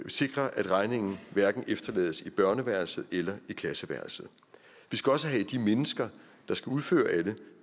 sikres at regningen hverken efterlades i børneværelse eller i klasseværelset vi skal også have de mennesker der skal udføre alle